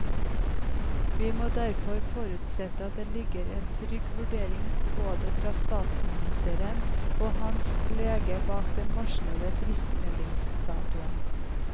Vi må derfor forutsette at det ligger en trygg vurdering både fra statsministeren og hans lege bak den varslede friskmeldingsdatoen.